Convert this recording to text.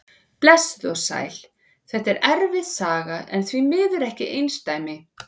Blessuð og sæl, þetta er erfið saga en því miður ekkert einsdæmi.